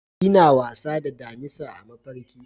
Ina wasa da damisa a mafarki.